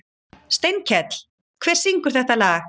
Steinkell, hver syngur þetta lag?